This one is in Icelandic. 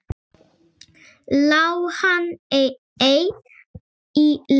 Lá hann ei í leti.